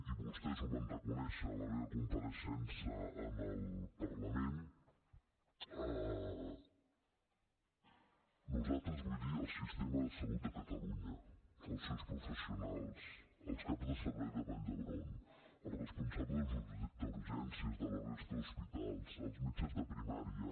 i vostès ho van reconèixer a la meva compareixença en el parlament nosaltres vull dir el sistema de salut de catalunya els seus professionals els caps de servei de vall d’hebron els responsables d’urgències de la resta d’hospitals els metges de primària